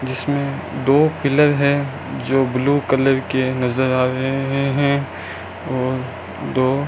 जीसमें दो पिलर है जो ब्लू कलर के नजर आ रहे हैं और दो --